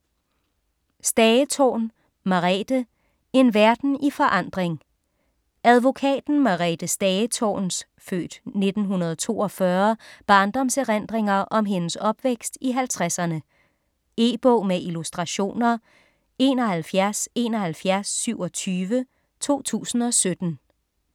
Stagetorn, Merethe: En verden i forandring Advokaten Merethe Stagetorns (f. 1942) barndomserindringer om hendes opvækst i halvtredserne. E-bog med illustrationer 717127 2017.